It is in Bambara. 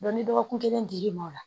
ni dɔgɔkun kelen dir'i ma o la